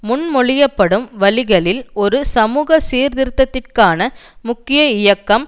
முன்மொழியப்படும் வழிகளில் ஒரு சமூக சீர்திருத்தத்திற்கான முக்கிய இயக்கம்